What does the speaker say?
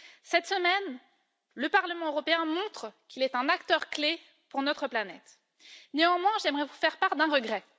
Cette semaine, le Parlement européen montre qu'il est un acteur clé pour notre planète. J'aimerais néanmoins vous faire part d'un regret.